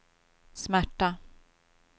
smärta